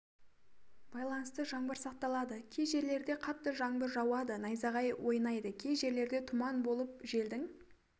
байланысты жаңбыр сақталады кей жерлерде қатты жаңбыр жауады найзағай ойнайды кей жерлерде тұман болып желдің